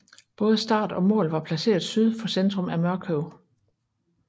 Både start og mål var placeret syd for centrum af Mørkøv